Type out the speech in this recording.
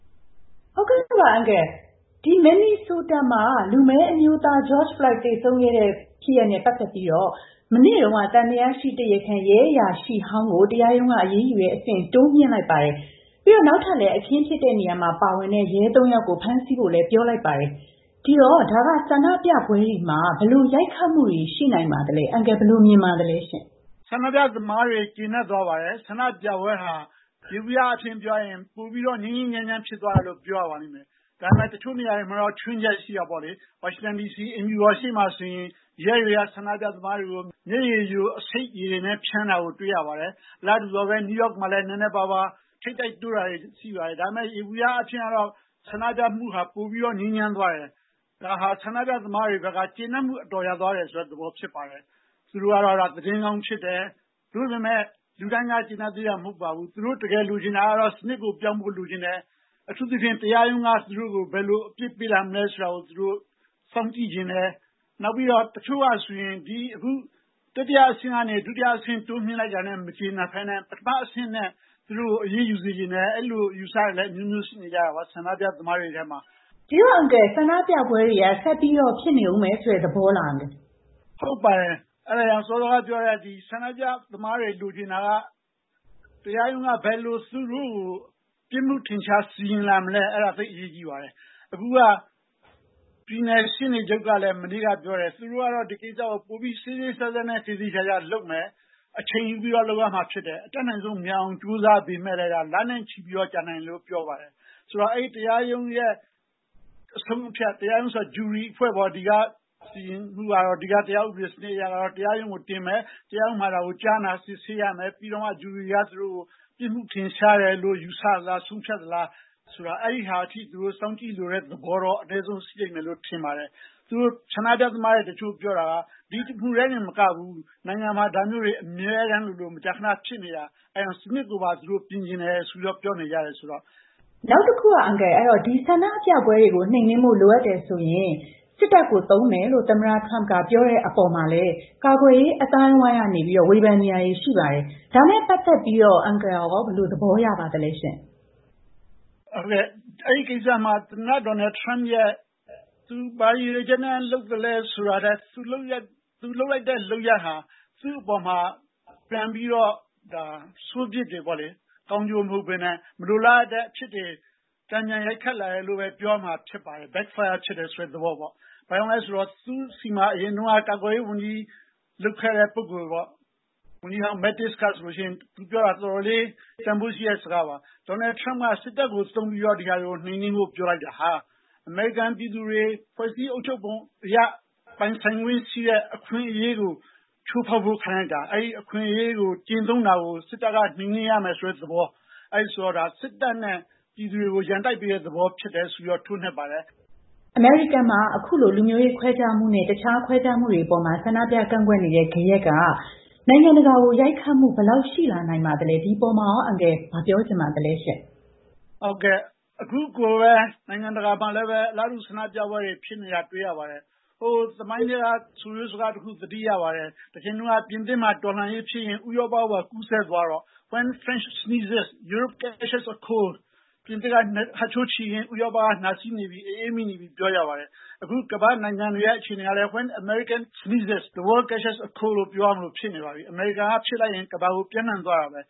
။ ဟုတ်ကဲ့ပါ အန်ကယ်။ ဒီမင်နီဆိုတာမှာ လူမည်းအမျိုးသား George Floyd သေဆုံးခဲ့တဲ့ ဖြစ်ရပ်နဲ့ ပတ်သက်ပြီးတော့ မနေ့က သံသယရှိတရားခံ ရဲအရာရှိဟောင်းကို တရားရုံးက အရေးယူတဲ့ အဆင့် တိုးမြှင့်လိုက်ပြီးတော့ နောက်ထပ် အခင်းဖြစ်တဲ့နေရာမှာ ပါဝင်တဲ့ ရဲ သုံး ဦးကိုလည်း ထပ်ပြီးဖမ်းလိုက်ပါတယ်။ ဒီတော့ ဒါက ဆန္ဒပြပွဲတွေမှာ ဘယ်လို ရိုက်ခတ်မှုတွေရှိနိုင်ပါသလဲ။ အန်ကယ် ဘယ်လို မြင်ပါသလဲ။ ဦးကျော်ဇံသာ။ ။ ဆန္ဒပြသမားတွေ ကျေနပ်သွားပါတယ်။ ဆန္ဒပြပွဲဟာ ယေဘုယျအားဖြင့် ပြောရရင် ပိုပြီးတော့ ငြိမ်းငြိမ်းချမ်းချမ်း ဖြစ်သွားတယ်လို့ ပြောရပါလိမ့်မယ်။ ဒါပေမဲ့ တချို့နေရာတွေမှာတော့ ခြွင်းချက်ရှိတာပေါ့လေ။ နယူးယောက်မှာ နည်းနည်းပါးပါး ထိပ်တိုက်တိုးတာတွေ ရှိပါတယ်။ ဒါပေမဲ့ ယေဘုယျအားဖြင့်တော့ ဆန္ဒပြမှုဟာ ပိုပြီးတော့ ငြိမ်းချမ်းသွားတယ်။ ဒါဟာ ဆန္ဒပြသမားတွေအတွက်က ကျေနပ်မှုအတော်ရသွားတယ်ဆိုတဲ့ သဘောဖြစ်ပါတယ်။ သူတို့ကတော့ သတင်းကောင်းဖြစ်တယ်။ သို့ပေမယ့် လူတိုင်းက ကျေနပ်သေးတာ မဟုတ်ပါဘူး။ သူတို့တကယ်လိုချင်တာကတော့ စနစ်ကို ပြောင်းဖို့ လိုချင်တယ်။ အထူးသဖြင့် တရားရုံးက သူတို့ကို ဘယ်လို အပြစ်ပေးလာမလဲဆိုတာကို သူတို့ စောင့်ကြည့်ချင်တယ်။ နောက်ပြီးတော့ တချို့ကဆိုရင် ဒီအခု တတိယအဆင့်ကနေ ဒုတိယအဆင့် တိုးမြှင့်လိုက်တာနဲ့ မကျေနပ်ဘဲနဲ့ ပထမအဆင့်နဲ့ သူတို့ကို အရေးယူစေချင်တယ်။ အဲ့လို အယူအဆတွေလည်း အမျိုးမျိုးရှိနေကြတာပေါ့ ဆန္ဒပြသမားတွေထဲမှာ။ မမြသဇင်အောင်။ ။ ဆန္ဒပြပွဲတွေက ဆက်ပြီးတော့ ဖြစ်နေအုံးမယ်ဆိုတဲ့ သဘောလား အန်ကယ်။ ဦးကျော်ဇံသာ။ ။ ဟုတ်ပါတယ်။ အဲ့ဒါကြောင့် စောစောကပြောတဲ့ ဆန္ဒပြသမားတွေ လိုချင်တာက တရားရုံးက ဘယ်လိုသူတို့ကို ပြစ်မှုထင်ရှား စီရင်လာမလဲ။ အဲဒါ သိပ်အရေးကြီးပါတယ်။ အခုက ပြည်နယ်ရှေ့နေချုပ်ကလည်း မနေ့က ပြောတယ်၊ သူတို့ကတော့ ဒီကိစ္စကို ပိုပြီး စေ့စေ့စပ်စပ်နဲ့ သေသေချာချာလုပ်မယ်၊ အချိန်ယူပြီးတော့ လုပ်ရမှာ ဖြစ်တယ်။ အတတ်နိုင်ဆုံး မြန်အောင် ကြိုးစားပေမဲ့လည်း လနဲ့ ချီပြီး ကြာနိုင်တယ်လို့ ပြောပါတယ်။ ဆိုတော့ အဲဒီ တရားရုံးရဲ့ အဆုံးအဖြတ် တရားရုံး ဆိုတာ ဂျူရီအဖွဲ့ပေါ့၊ ဒီကတရားဥပဒေ စနစ်အရတော့ တရားရုံးကို တင်မယ်၊ တရားရုံးမှာ ကြားနာ စစ်ဆေးရမယ်။ ပြီးတော့မှ ဂျူရီက သူတို့ကို ပြစ်မှုထင်ရှားတယ်လို့ ယူဆသလားဆိုတာ ဆုံးဖြတ်သလား။ အဲ့ဒါထိ သူတို့စောင့်ကြည့်လိုတဲ့သဘောတော့ အနည်းဆုံး ရှိလိမ့်မယ်လို့ ထင်ပါတယ်။ ဆန္ဒပြသမားတွေ တချို့ပြောတာက ဒီတစ်မှုထဲတင်မကဘူး၊ နိုင်ငံမှာ ဒါမျိုးတွေ အမြဲတမ်းလိုလို မကြာခဏဖြစ်နေတာ။ အဲ့ဒါကြောင့် စနစ်ကိုပါ သူတို့ ပြင်ချင်တယ်ဆိုပြီးတော့ ပြောနေကြတယ်။ မမြသဇင်အောင်။ ။ နောက်တခုက အန်ကယ်။ ဒီဆန္ဒပြပွဲတွေ နှိမ်နင်းဖို့ လိုအပ်ရင် စစ်တပ်ကိုသုံးမယ်လို့ သမ္မတထရမ့်က ပြောတဲ့အပေါ် ကာကွယ်ရေး အသိုင်းအဝိုင်းက ဝေဖန်နေကြတာတွေလည်း ရှိပါတယ်။ အဲဒါနဲ့ ပတ်သက်လို့ရော အန်ကယ်ဘယ်လို သဘောရပါသလဲရှင့်။ ဦးကျော်ဇံသာ။ ။ အဲဒီကိစ္စမှာ သမ္မတ Donald Trump ဘာရည်ရွယ်ချက်နဲ့ လုပ်သလဲဆိုတာထက် သူလုပ်လိုက်တဲ့ လုပ်ရပ်ဟာ သူ့အပေါ်မှာ ပြန်ပြီးတော့ ဒါ ဆိုးပြစ်တွေပေါ့လေ၊ ကောင်းကျိုးမဟုတ်ဘဲနဲ့ မလိုလားအပ်တဲ့အဖြစ်တွေ တန်ပြန်ရိုက်ခတ်လာနိုင်တယ်လို့ပဲ ပြောရမှာဖြစ်ပါတယ်။ ဘာကြောင့်လည်းဆိုတော့ သူ့ဆီမှာ အရင်တုန်းက ကာကွယ်ရေးဝန်ကြီး လုပ်ခဲ့တဲ့ ပုဂ္ဂိုလ်ပေါ့ ဝန်ကြီးဟောင်း Mattis ဟာဆိုလို့ရှိရင် သူပြောတာ တော်တော်လေး တန်ဖိုးရှိတဲ့ စကားပါ။ Donald Trump က စစ်တပ်ကို သုံးပြီးတော့ ဒီဟာတွေကို နှိမ်နင်းဖို့ ပြောလိုက်တာဟာ အမေရိကန်ပြည်သူတွေ ဖွဲ့စည်းအုပ်ချုပ်ပုံအရ ပိုင်ဆိုင်ခွင့်ရှိတဲ့ အခွင့်အရေးကို ချိုးဖောက်ခံလိုက်ရတာ။ အဲဒီ အခွင့်အရေး ကျင့်သုံးတာကို စစ်တပ်က နှိမ်နင်းရမယ်ဆိုတဲ့ သဘော၊ အဲလိုဆိုတော့ ဒါ စစ်တပ်နဲ့ ပြည်သူတွေကို ရန်တိုက်ပေးတဲ့သဘော ဖြစ်တယ်ဆိုပြီးတော့ ထိုးနှက်ပါတယ်။ မမြသဇင်အောင်။ ။ အမေရိကန်မှာ အခုလို လူမျိုးရေးခွဲခြားမှုနဲ့ တခြားခွဲခြားမှုတွေ အပေါ် ဆန္ဒပြကန့်ကွက်နေကြတဲ့ ဂယက်က နိုင်ငံတကာကို ဘယ်လောက် ရိုက်ခတ်မှု ရှိလာနိုင်ပါသလဲ။ ဒီအပေါ်မှာရော အန်ကယ် ဘာပြောချင်ပါသလဲရှင့်။ ဦးကျော်ဇံသာ။ ။ ဟုတ်ကဲ့။ အခုကိုပဲ နိုင်ငံတကာမှာလည်းပဲ အလားတူ ဆန္ဒပြပွဲတွေ ဖြစ်နေတာ တွေ့ရပါတယ်။ ဟိုသမိုင်းထဲက ဆိုရိုးစကားတခု သတိရပါတယ်။ တချိန်တုန်းက ပြင်သစ်မှာ တော်လှန်ရေးဖြစ်ရင် ဥရောပကိုပါ ကူးစက်သွားတော့ When France sneezes, European catches a cold. ပြင်သစ်က ဟတ်ချိုးချေရင် ဥရောပက နှာစေးနေပြီ၊ အအေးမိနေပြီ ပြောကြပါတယ်။ အခု ကမ္ဘာ့နိုင်ငံတွေရဲ့ အခြေအနေကလည်း When American sneezes, the World catches a cold. ပြောရလို ဖြစ်နေပါပြီ။ အမေရိကန်က ဖြစ်လိုက်ရင် ကမ္ဘာကို ပျံ့နှံ့သွားတာပဲ